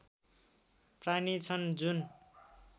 प्राणी छन् जुन